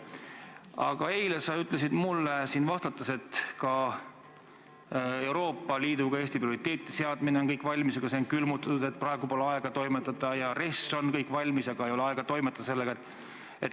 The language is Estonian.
Aga eile sa ütlesid mulle siin vastates, et ka Euroopa Liidus Eesti prioriteetide seadmine on kõik valmis, aga see on külmutatud, et praegu pole aega toimetada, ja RES on valmis, aga pole aega sellega toimetada.